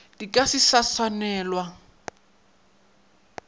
di ka se sa swanelwa